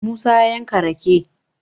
musa ya yanka rake